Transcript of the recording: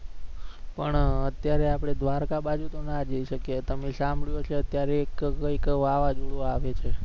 પણ અત્યારે આપણે દ્વારકા બાજુ તો ના જઈ શકીએ. તમે સાંભળયુ હશે અત્યારે એક વાવાઝોડું આવે છે